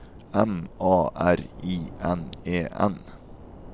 M A R I N E N